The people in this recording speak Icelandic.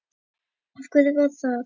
Af hverju var það?